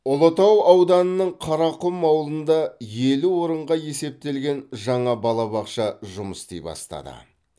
ұлытау ауданының қарақұм ауылында елу орынға есептелген жаңа балабақша жұмыс істей бастады